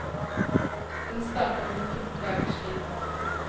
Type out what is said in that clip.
Den starter om en fjorten dagers tid.